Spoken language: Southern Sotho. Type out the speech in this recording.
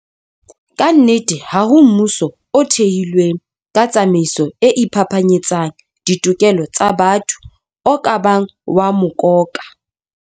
Kannete, ha ho mmuso o thehilweng ka tsamaiso e iphapanyetsang ditokelo tsa batho o ka bang wa mokoka.